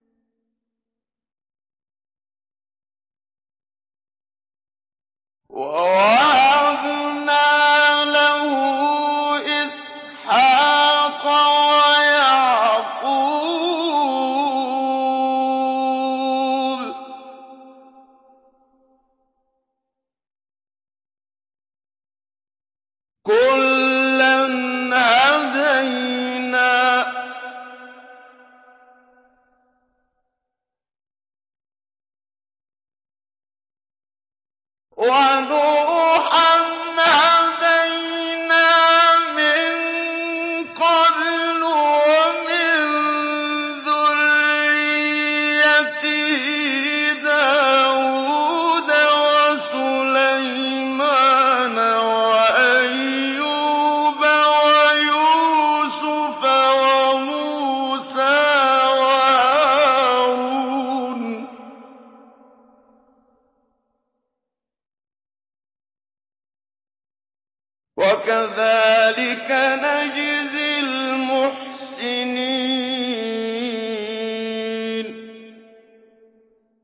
وَوَهَبْنَا لَهُ إِسْحَاقَ وَيَعْقُوبَ ۚ كُلًّا هَدَيْنَا ۚ وَنُوحًا هَدَيْنَا مِن قَبْلُ ۖ وَمِن ذُرِّيَّتِهِ دَاوُودَ وَسُلَيْمَانَ وَأَيُّوبَ وَيُوسُفَ وَمُوسَىٰ وَهَارُونَ ۚ وَكَذَٰلِكَ نَجْزِي الْمُحْسِنِينَ